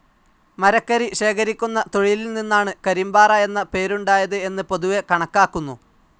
മരക്കരി ശേഖരിക്കുന്ന തൊഴിലിൽനിന്നാണ് കരിമ്പാറ എന്ന പേരുണ്ടായത് എന്ന് പൊതുവെ കണക്കാക്കുന്നു.